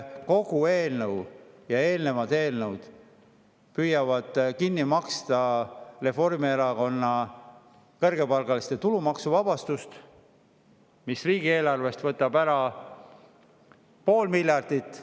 Kogu selle eelnõu ja eelnevate eelnõudega püütakse kinni maksta Reformierakonna kõrgepalgaliste tulumaksu, mis võtab riigieelarvest ära pool miljardit.